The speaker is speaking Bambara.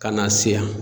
Ka na se yan